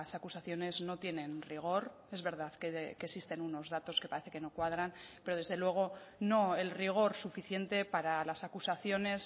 acusaciones no tienen rigor es verdad que existen unos datos que parece que no cuadran pero desde luego no el rigor suficiente para las acusaciones